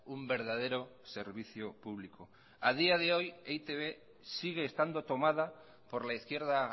un verdadero servicio público a día de hoy e i te be sigue estando tomada por la izquierda